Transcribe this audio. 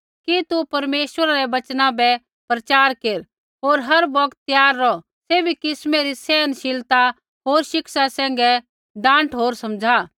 कि तू परमेश्वरा रै वचना बै प्रचार केर होर हर बौगत त्यार रौह सैभी किस्मै री सहनशीलता होर शिक्षा सैंघै डाँट होर समझ़ा